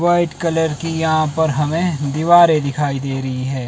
White colour की यहां पर हमें दीवारे दिखाई दे रही है।